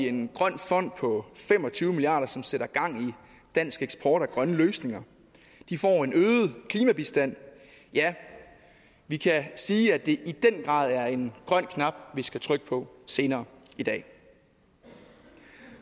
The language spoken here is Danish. en grøn fond på fem og tyve milliard kr som sætter gang i dansk eksport af grønne løsninger de får en øget klimabistand ja vi kan sige at det i den grad er en grøn knap vi skal trykke på senere i dag